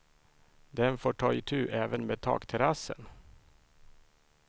Den får ta itu även med takterrassen.